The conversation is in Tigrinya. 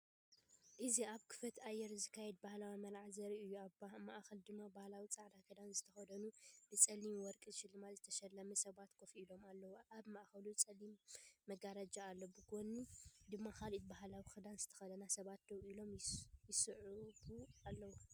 እዚ ኣብ ክፉት ኣየር ዝካየድ ባህላዊ መርዓ ዘርኢ እዩ ኣብ ማእከል ድማ ባህላዊ ጻዕዳ ክዳን ዝተኸድኑን ብጸሊምን ወርቅንስልማት ዝተሰለሙ ሰባት ኮፍ ኢሎም ኣለዉ። ኣብ ማእከሉ ጸሊም መጋረጃ ኣሎ፡ብጐድኒ ድማ ካልኦት ባህላዊክዳን ዝተኸድኑ ሰባት ደው ኢሎም ይስዕቡኣለዉ።